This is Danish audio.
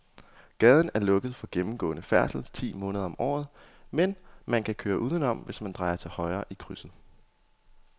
Gaden er lukket for gennemgående færdsel ti måneder om året, men man kan køre udenom, hvis man drejer til højre i krydset.